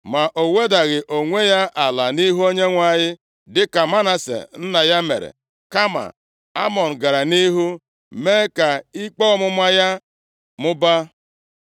Ma o wedaghị onwe ya ala nʼihu Onyenwe anyị dịka Manase nna ya mere. Kama Amọn gara nʼihu mee ka ikpe ọmụma ya mụbaa.